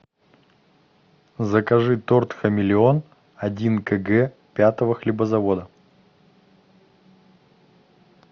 закажи торт хамелеон один кг пятого хлебозавода